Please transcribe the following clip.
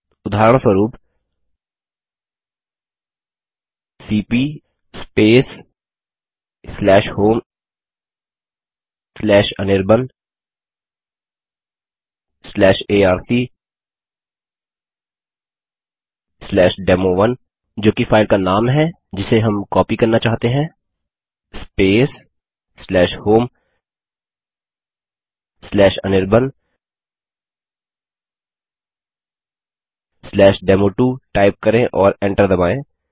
उदाहरणस्वरूप सीपी homeanirbanarcdemo1जो कि फाइल का नाम है जिसे हम कॉपी करना चाहते हैं homeanirbandemo2 टाइप करें और एंटर दबायें